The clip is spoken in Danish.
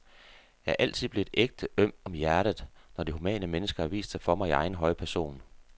Jeg er altid blevet ægte øm om hjertet, når det humane menneske har vist sig for mig i egen høje person.